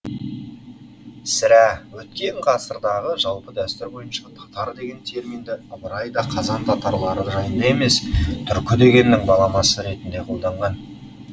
сірә өткен ғасырдағы жалпы дәстүр бойынша татар деген терминді ыбырай да қазан татарлары жайында емес түркі дегеннің де баламасы ретінде қолданған